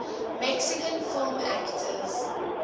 mexican film actors